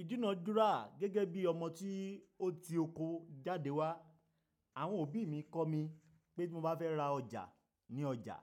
Ìdúnàádúrà gẹ́gẹ́ bí ọmọ tí ó ti oko jáde wá. Àwọn òbí mi kọ́ mi pé bí mo bá fẹ́ ra ọjà ní ọjà,